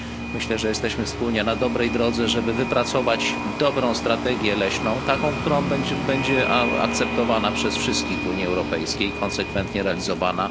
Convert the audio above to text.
Myślę, że jesteśmy wspólnie na dobrej drodze, żeby wypracować dobrą strategię leśną taką, która będzie akceptowana przez wszystkich w Unii Europejskiej i konsekwentnie realizowana.